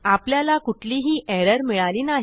आपल्याला कुठलीही एरर मिळाली नाही